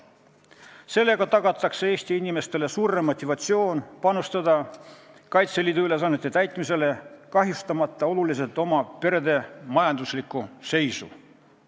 Sellega tagatakse Eesti inimestele suurem motivatsioon panustada Kaitseliidu ülesannete täitmisesse, kahjustamata oluliselt perede majanduslikku seisu.